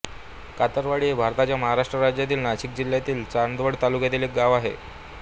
कातरवाडी हे भारताच्या महाराष्ट्र राज्यातील नाशिक जिल्ह्यातील चांदवड तालुक्यातील एक गाव आहे